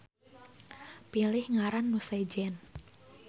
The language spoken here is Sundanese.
Pilih ngaran nu sejen